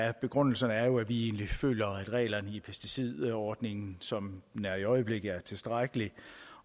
af begrundelserne er at vi egentlig føler at reglerne i pesticidforordningen som den er i øjeblikket er tilstrækkelige